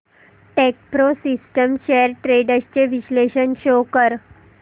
Techpro systems shares trends चे विश्लेषण show कर